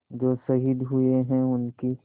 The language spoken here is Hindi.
जो शहीद हुए हैं उनकी